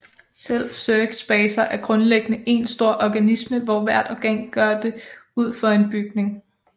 Selv Zergs baser er grundlæggende én stor organisme hvor hvert organ gør det ud for en bygning